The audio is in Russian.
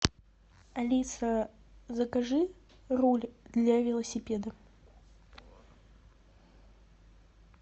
алиса закажи руль для велосипеда